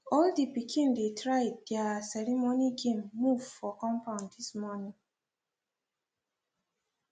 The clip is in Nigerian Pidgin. all the pikin dey try their ceremony game move for compund this morning